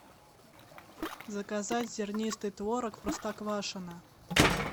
заказать зернистый творог простоквашино